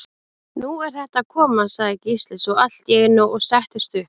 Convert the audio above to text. Nú er þetta að koma, sagði Gísli svo allt í einu og settist upp.